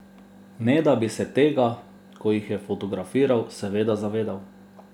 Ne da bi se tega, ko jih je fotografiral, seveda zavedal.